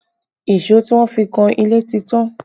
Èso tí wọ́n fi kan ilé ti tán